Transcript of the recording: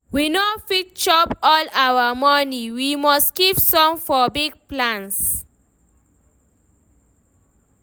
We no fit chop all our money, we must keep some for big plans.